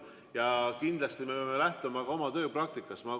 Ja kindlasti me peame lähtuma oma tööpraktikast.